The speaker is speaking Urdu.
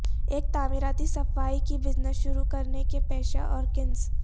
ایک تعمیراتی صفائی کی بزنس شروع کرنے کے پیشہ اور کنس